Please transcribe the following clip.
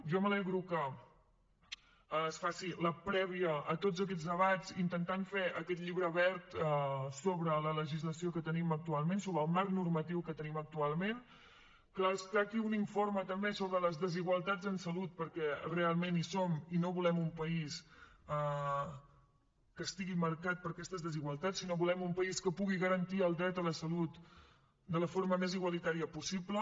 jo m’alegro que es faci la prèvia a tots aquests debats intentant fer aquest llibre verd sobre la legislació que tenim actualment sobre el marc normatiu que tenim actualment que es tracti d’un informe també sobre les desigualtats en salut perquè realment hi són i no volem un país que estigui marcat per aquestes desigualtats sinó que volem un país que pugui garantir el dret a la salut de la forma més igualitària possible